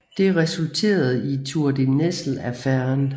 Det resulterede i Tour de Nesle Affæren